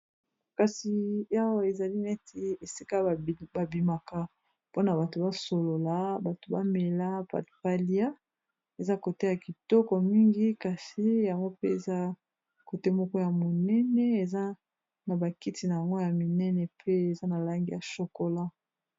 Kasi awa ezali neti esika ba bimaka mpona bato basolola bato bamela batu balia eza kote ya kitoko mingi kasi yango mpe eza kote moko ya monene eza na bakiti nango ya minene pe eza na langi ya shokola.